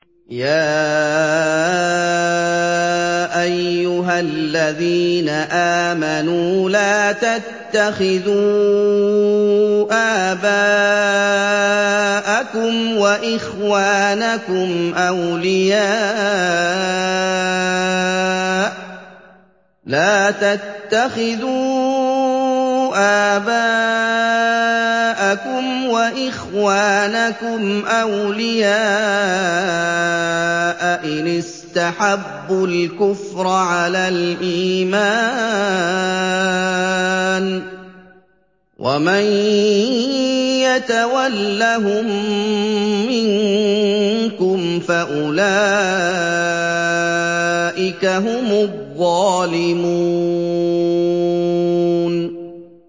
يَا أَيُّهَا الَّذِينَ آمَنُوا لَا تَتَّخِذُوا آبَاءَكُمْ وَإِخْوَانَكُمْ أَوْلِيَاءَ إِنِ اسْتَحَبُّوا الْكُفْرَ عَلَى الْإِيمَانِ ۚ وَمَن يَتَوَلَّهُم مِّنكُمْ فَأُولَٰئِكَ هُمُ الظَّالِمُونَ